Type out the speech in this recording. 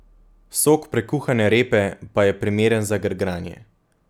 Sok prekuhane repe pa je primeren za grgranje.